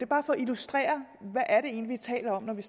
bare for at illustrere hvad vi egentlig taler om når vi